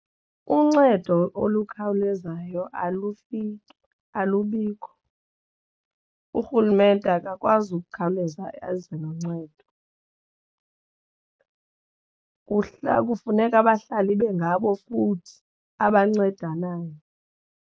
Uncedo olukhawulezayo ufike alubikho. Urhulumente akakwazi ukukhawuleza eze noncedo kuhla kufuneka abahlali ibe ngabo futhi abancedanayo.